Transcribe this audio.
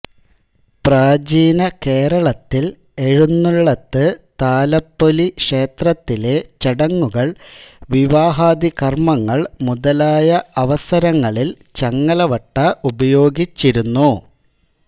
പ്രാചീനകേരളത്തിൽ എഴുന്നള്ളത്ത് താലപ്പൊലി ക്ഷേത്രത്തിലെ ചടങ്ങുകൾ വിവാഹാദികർമങ്ങൾ മുതലായ അവസരങ്ങളിൽ ചങ്ങലവട്ട ഉപയോഗിച്ചിരുന്നു